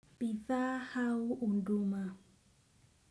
Pithahau hunduma.